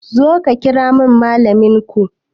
Zo ka kiramin malamin ko